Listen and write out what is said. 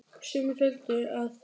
Sumir töldu að